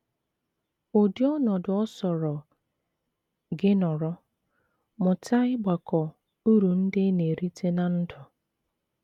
Ụdị ọnọdụ ọ sọrọ gị nọrọ, mụta ịgbakọ uru ndị ị na - erite ná ndụ.